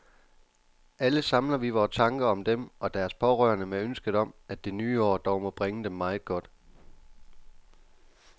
Alle samler vi vore tanker om dem og deres pårørende med ønsket om, at det nye år dog må bringe dem meget godt.